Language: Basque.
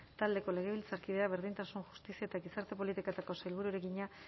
taldeko legebiltzarkideak berdintasun justizia eta gizarte politiketako sailburuari egina